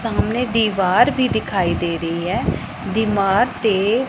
ਸਾਹਮਣੇ ਦਿਵਾਰ ਵੀ ਦਿਖਾਈ ਦੇ ਰਹੀ ਹੈ ਦੀਮਾਗ ਤੇ --